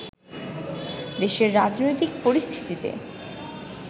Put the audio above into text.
দেশের রাজনৈতিক পরিস্থিতিতে